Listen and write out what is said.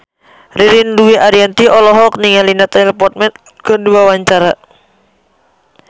Ririn Dwi Ariyanti olohok ningali Natalie Portman keur diwawancara